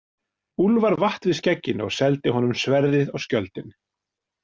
Úlfar vatt við skegginu og seldi honum sverðið og skjöldinn.